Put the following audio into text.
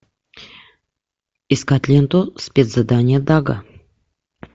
искать ленту спецзадание дага